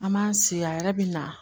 An m'an si a yɛrɛ bi na